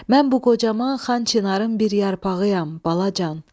Mən bu qocaman Xan Çinarın bir yarpağıyam, balacan.